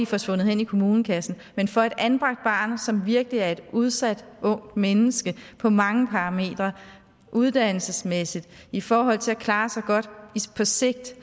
forsvundet hen i kommunekassen men for et anbragt barn som virkelig er et udsat ungt menneske på mange parametre uddannelsesmæssigt og i forhold til at klare sig godt på sigt